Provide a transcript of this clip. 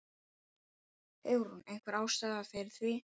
Hugrún: Einhver ástæða fyrir því?